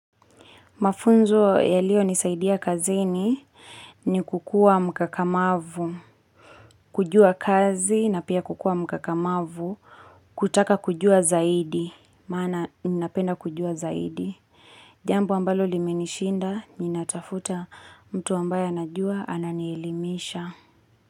Mafunzo yaliyo nisaidia kazini ni kukua mkakamavu, kujua kazi na pia kukua mkakamavu, kutaka kujua zaidi, maana ninapenda kujua zaidi. Jambo ambalo limenishinda, ninatafuta mtu ambaye anajua ananielimisha.